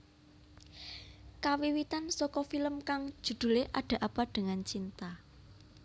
Kawiwitan saka film kang judhulé Ada Apa dengan Cinta